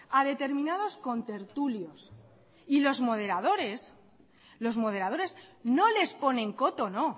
a determinados contertulios y los moderadores los moderadores no les ponen coto no